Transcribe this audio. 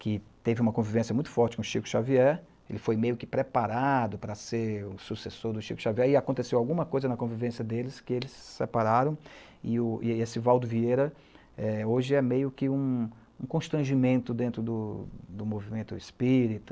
que teve uma convivência muito forte com Chico Xavier, ele foi meio que preparado para ser o sucessor do Chico Xavier, e aconteceu alguma coisa na convivência deles que eles se separaram, e esse Valdo Vieira hoje é meio que um constrangimento dentro do movimento espírita,